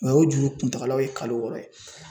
Mɛ o juru kuntagalaw ye kalo wɔɔrɔ ye